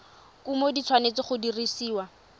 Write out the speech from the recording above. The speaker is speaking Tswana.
kumo di tshwanetse go dirisiwa